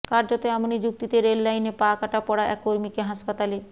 কার্যত এমনই যুক্তিতে রেললাইনে পা কাটা পড়া এক কর্মীকে হাসপাতালে